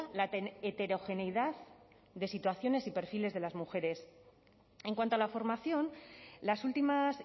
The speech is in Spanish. la heterogeneidad de situaciones y perfiles de las mujeres en cuanto a la formación las últimas